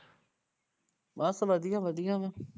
ਬਸ ਵਧੀਆ ਵਧੀਆ ਵਾਂ